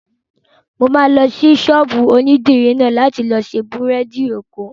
Mo máa lọ sí ọ̀dọ̀ ṣọ́ọ̀bù onídìrí náà láti lọ ṣe bírèèdì èkó